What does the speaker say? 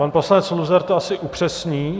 Pan poslanec Luzar to asi upřesní.